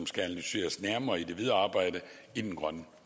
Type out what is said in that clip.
skal analyseres nærmere i det videre arbejde i den grønne